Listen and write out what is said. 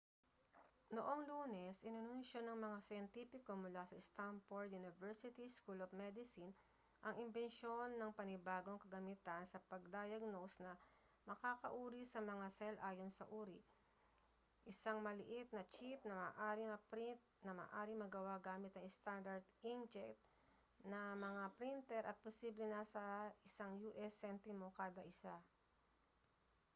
noong lunes inanunsiyo ng mga siyentipiko mula sa stanford university school of medicine ang imbensyon ng panibagong kagamitan sa pag-diagnose na makakauri sa mga cell ayon sa uri isang maliit na chip na maaaring maprint na maaaring magawa gamit ang standard inkjet na mga printer at posibleng nasa isang u.s. sentimo kada isa